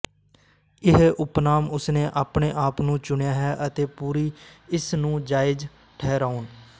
ਇਹ ਉਪਨਾਮ ਉਸਨੇ ਆਪਣੇ ਆਪ ਨੂੰ ਚੁਣਿਆ ਹੈ ਅਤੇ ਪੂਰੀ ਇਸ ਨੂੰ ਜਾਇਜ਼ ਠਹਿਰਾਉਣ